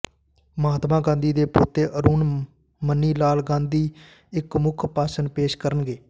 ਮਹਾਤਮਾ ਗਾਂਧੀ ਦੇ ਪੋਤੇ ਅਰੁਣ ਮਨੀਲਾਲ ਗਾਂਧੀ ਇਕ ਮੁੱਖ ਭਾਸ਼ਣ ਪੇਸ਼ ਕਰਨਗੇ